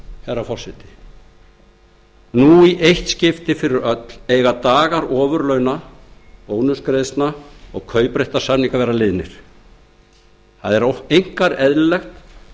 herra forseti eiga dagar ofurlauna bónusgreiðslna og kaupréttarsamninga að vera liðnir það er einkar eðlilegt